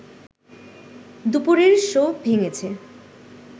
দুপুরের শো ভেঙেছে